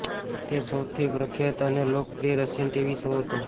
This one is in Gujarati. તે સૌથી પ્રખ્યાત અને લોકપ્રિય રશિયન ટીવી શો હતો